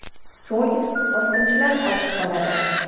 So‘ng bosqinchilar qochib qoladi.